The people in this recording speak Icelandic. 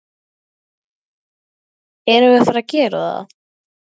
Erum við að fara að gera það?